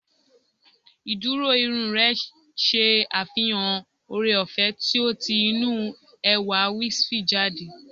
Ìdúró irun rẹ ṣe àfihàn ooreọ̀fẹ́ tí ó ti inú ẹwà wispy jáde